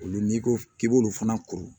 Olu n'i ko k'i b'olu fana kuru